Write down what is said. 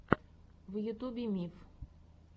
в ютубе миф